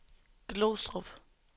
Glostrup